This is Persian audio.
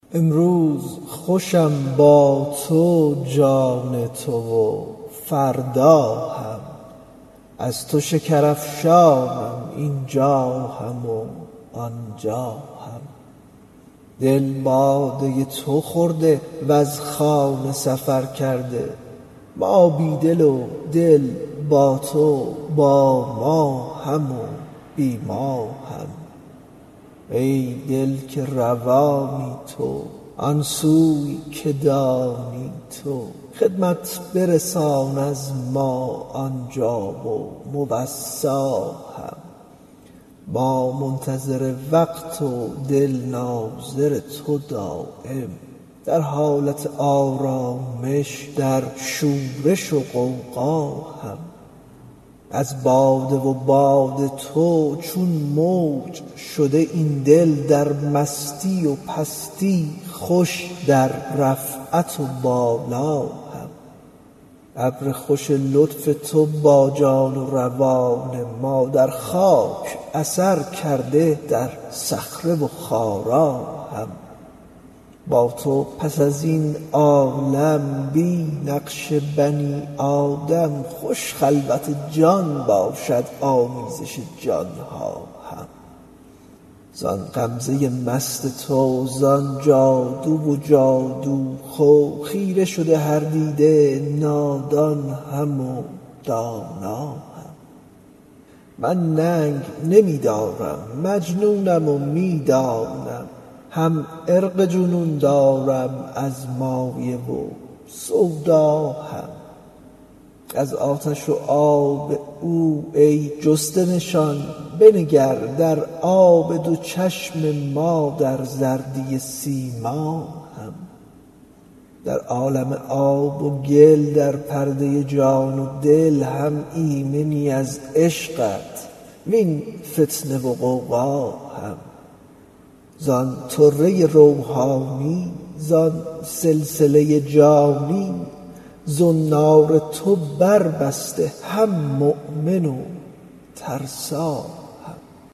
امروز خوشم با تو جان تو و فردا هم از تو شکرافشانم این جا هم و آن جا هم دل باده تو خورده وز خانه سفر کرده ما بی دل و دل با تو با ما هم و بی ما هم ای دل که روانی تو آن سوی که دانی تو خدمت برسان از ما آن جا و موصی هم ما منتظر وقت و دل ناظر تو دایم در حالت آرامش در شورش و غوغا هم از باده و باد تو چون موج شده این دل در مستی و پستی خوش در رفعت و بالا هم ابر خوش لطف تو با جان و روان ما در خاک اثر کرده در صخره و خارا هم با تو پس از این عالم بی نقش بنی آدم خوش خلوت جان باشد آمیزش جان ها هم زآن غمزه مست تو زآن جادو و جادوخو خیره شده هر دیده نادان هم و دانا هم من ننگ نمی دارم مجنونم و می دانی هم عرق جنون دارم از مایه و سودا هم از آتش و آب او ای جسته نشان بنگر در آب دو چشم ما در زردی سیما هم در عالم آب و گل در پرده جان و دل هم ایمنی از عشقت وین فتنه و غوغا هم زان طره روحانی زان سلسله جانی زنار تو بر بسته هم مؤمن و ترسا هم